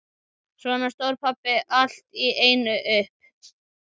Svo stóð pabbi allt í einu upp.